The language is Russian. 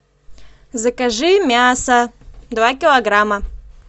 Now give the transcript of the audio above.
закажи мясо два килограмма